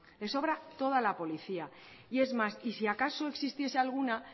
le sobra toda la policía es más y si acaso existiese alguna